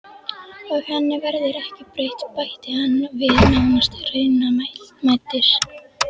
Og henni verður ekki breytt, bætti hann við nánast raunamæddur.